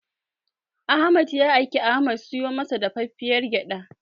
Ahmad ya aiki Ahmad ya siyo masa dafaffiyar gyaɗa.